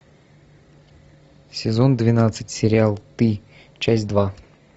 сезон двенадцать сериал ты часть два